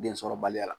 Densɔrɔbaliya